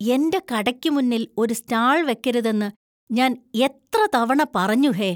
എന്‍റെ കടയ്ക്ക് മുന്നിൽ ഒരു സ്റ്റാൾ വെക്കരുതെന്ന് ഞാൻ എത്ര തവണ പറഞ്ഞു ഹേ?